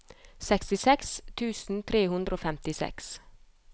sekstiseks tusen tre hundre og femtiseks